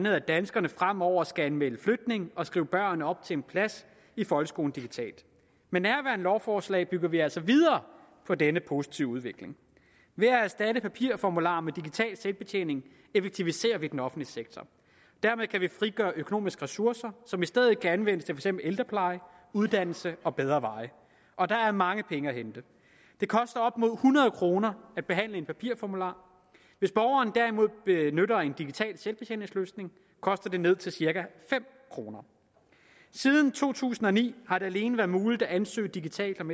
at danskerne fremover skal anmelde flytning og skrive børn op til en plads i folkeskolen digitalt med nærværende lovforslag bygger vi altså videre på denne positive udvikling ved at erstatte papirformularer med digital selvbetjening effektiviserer vi den offentlige sektor dermed kan vi frigøre økonomiske ressourcer som i stedet kan anvendes eksempel ældrepleje uddannelse og bedre veje og der er mange penge at hente det koster op mod hundrede kroner at behandle en papirformular hvis borgeren derimod benytter en digital selvbetjeningsløsning koster det ned til cirka fem kroner siden to tusind og ni har det alene været muligt at ansøge digitalt om